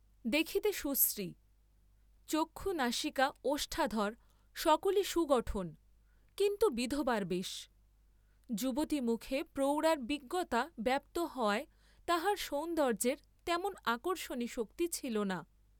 দেখিতে সুশ্রী, চক্ষু নাসিকা ওষ্ঠাধর সকলি সুগঠন, কিন্তু বিধবার বেশ; যুবতী মুখে প্রৌঢ়ার বিজ্ঞতা ব্যাপ্ত হওয়ায় তাঁহার সৌন্দর্য্যের তেমন আকর্ষণী শক্তি ছিল না।